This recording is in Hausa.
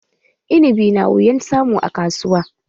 Inibi na wuyan samu a kasuwa